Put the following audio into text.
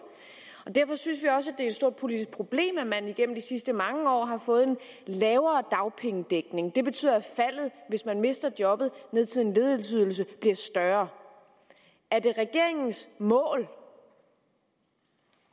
derfor synes vi også det er et stort politisk problem at man igennem de sidste mange år har fået en lavere dagpengedækning det betyder at faldet hvis man mister jobbet ned til en ledighedsydelse bliver større er det regeringens mål